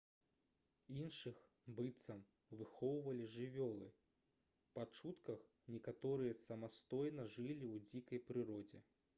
іншых быццам выхоўвалі жывёлы па чутках некаторыя самастойна жылі ў дзікай прыродзе